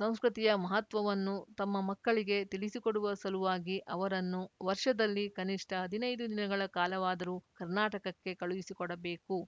ಸಂಸ್ಕೃತಿಯ ಮಹತ್ವವನ್ನು ತಮ್ಮ ಮಕ್ಕಳಿಗೆ ತಿಳಿಸಿಕೊಡುವ ಸಲುವಾಗಿ ಅವರನ್ನು ವರ್ಷದಲ್ಲಿ ಕನಿಷ್ಠ ಹದಿನೈದು ದಿನಗಳ ಕಾಲವಾದರೂ ಕರ್ನಾಟಕಕ್ಕೆ ಕಳುಹಿಸಿಕೊಡಬೇಕು